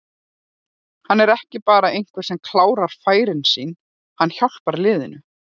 Hann er ekki bara einhver sem klárar færin sín, hann hjálpar liðinu.